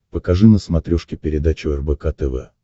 покажи на смотрешке передачу рбк тв